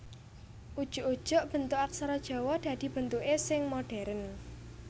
Ujug ujug bentuk aksara Jawa dadi bentuké sing modhèrn